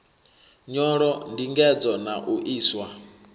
nyolo ndingedzo na u iswa